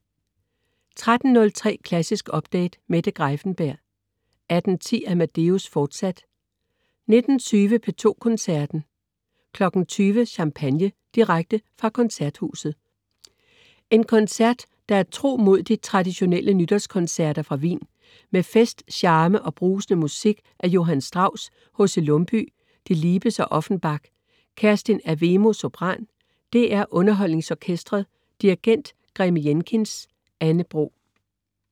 13.03 Klassisk Update. Mette Greiffenberg 18.10 Amadeus, fortsat 19.20 P2 Koncerten. 20.00 Champagne! Direkte fra Koncerthuset. En koncert der er tro mod de traditionelle nytårskoncerter fra Wien. Med fest, charme og brusende musik af Johann Strauss, H.C. Lumbye, Delibes og Offenbach. Kerstin Avemo, sopran. DR UnderholdningsOrkestret. Dirigent: Graeme Jenkins. Anne Bro